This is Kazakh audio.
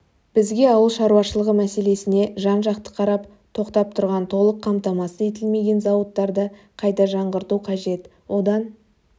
бізге ауыл шаруашылығы мәселесіне жан-жақты қарап тоқтап тұрған толық қамтамасыз етілмеген зауыттарды қайта жаңғырту қажет одан